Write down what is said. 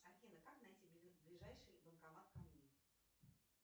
афина как найти ближайший банкомат ко мне